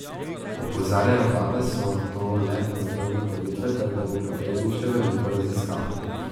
Opozarjajo pa, da so to le prve ugotovitve ter da bo potrebnih še veliko raziskav.